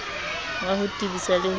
wa ho tebisa le ho